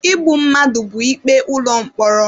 Igbu mmadụ bụ ikpe ụlọ mkpọrọ.